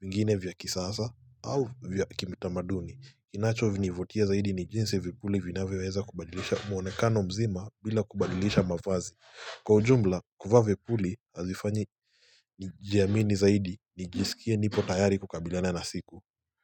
mingine vya kisasa au vya kimitamaduni. Inacho nivutia zaidi ni jinsi vipuli vinavyoweweza kubadilisha mwonekano mzima bila kubadilisha mavazi. Kwa ujumla, kuvaa vipuli hazifanyi nijiamini zaidi ni jisikie nipo tayari kukabilana na siku.